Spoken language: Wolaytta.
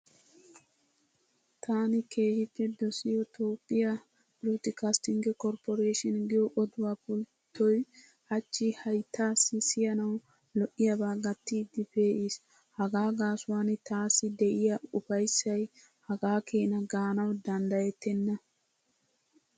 Taani keehippe dosiyo Toophphiya broadcasting cooperation giyo oduwa pulittoy hachchi hayittaassi siyanawu lo'iyabaa gattiiddi pe'iis. Hagaa gaasuwan taassi de'iya ufayissay hagaa keena gaanawu daniddayettenna.